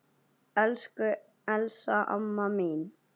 Elsku Elsa amma mín.